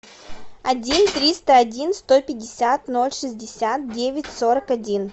один триста один сто пятьдесят ноль шестьдесят девять сорок один